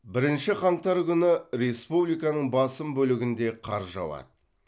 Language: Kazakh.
бірінші қаңтар күні республиканың басым бөлігінде қар жауады